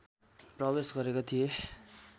प्रवेश गरेका थिए